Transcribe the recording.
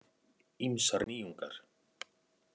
Ýmsar nýjungar